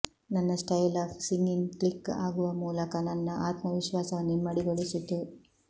ನನ್ನ style of singing click ಆಗುವ ಮೂಲಕ ನನ್ನ ಆತ್ಮವಿಶ್ವಾಸವನ್ನು ಇಮ್ಮಡಿಗೊಳಿಸಿತು